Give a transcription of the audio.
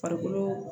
Farikolo